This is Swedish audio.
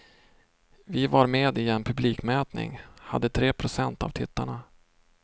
Vi var med i en publikmätning, hade tre procent av tittarna.